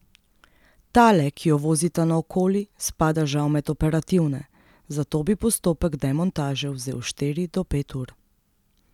Tale, ki jo vozita naokoli, spada žal med operativne, zato bi postopek demontaže vzel štiri do pet ur.